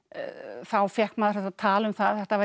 þá fékk maður þetta tal um það að þetta væri